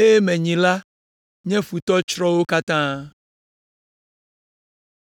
eye menyi la nye futɔ tsrɔ̃ wo katã.”